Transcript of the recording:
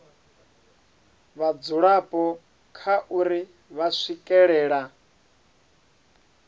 vhadzulapo kha uri vha swikelela